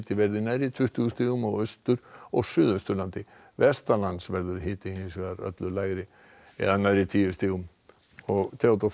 verði nærri tuttugu stigum á Austur og Suðausturlandi verður hiti hins vegar öllu lægri eða nærri tíu stigum Theodór Freyr